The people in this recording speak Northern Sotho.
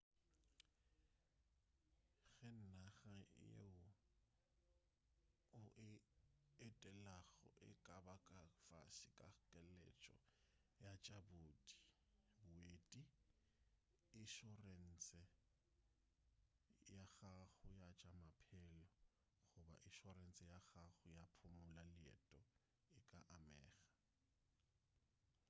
ge naga yeo o e etelago e ka ba ka fase ga keletšo ya tša boeti išorense ya gago ya tša maphelo goba išorense ya gago ya go phumula leeto e ka amega